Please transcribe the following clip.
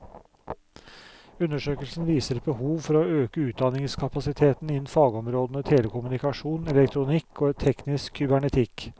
Undersøkelsen viser et behov for å øke utdanningskapasiteten innen fagområdene telekommunikasjon, elektronikk og teknisk kybernetikk.